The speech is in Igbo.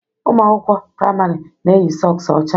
Ụmụ akwụkwọ praịmarị na-eyi sọks ọcha